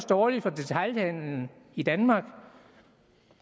dårligt for detailhandelen i danmark